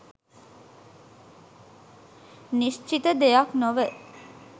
නිශ්චිත දෙයක් නොව